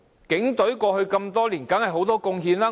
警隊過去多年當然有很多貢獻。